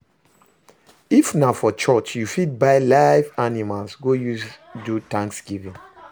If na for Church you fit buy live animals go use do thanksgiving